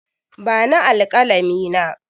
Bani alƙalami na!